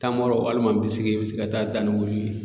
Tamaro walima bisigi i bɛ se ka taa da ni olu ye